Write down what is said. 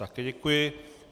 Také děkuji.